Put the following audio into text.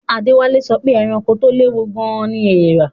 Adewale sọ pé ẹranko tó léwu gan-an ni eèrà